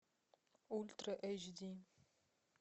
ультра эйч ди